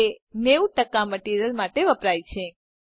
જે 90 મટીરીઅલ માટે વપરાય છે